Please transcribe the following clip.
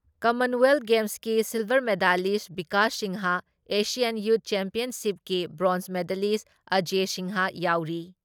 Commonwealth ꯒꯦꯝꯁꯀꯤ silver medalist Bikash Singh, Asian youth ꯆꯦꯝꯄꯤꯌꯟꯁꯤꯞꯀꯤ bronze medalist Ajay Singh ꯌꯥꯎꯔꯤ ꯫